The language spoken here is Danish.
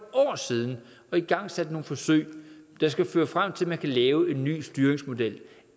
siden og igangsat nogle forsøg der skal føre frem til at man kan lave en ny styringsmodel